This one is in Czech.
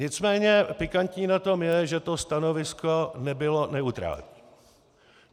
Nicméně pikantní na tom je, že to stanovisko nebylo neutrální.